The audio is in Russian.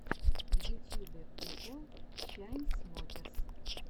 в ютьюбе прикол чайнсмокерс